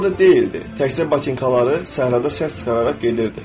Özü orda deyildi, təkcə batinkaları səhrada səs çıxararaq gedirdi.